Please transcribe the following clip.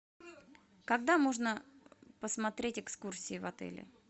когда можно посмотреть экскурсии в отеле